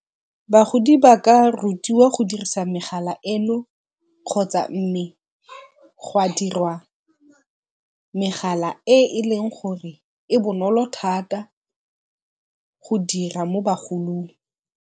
Bagodi ba ka rutiwa go dirisa megala eno kgotsa mme go a dirwa megala e e leng gore e bonolo thata go dira mo bagolong.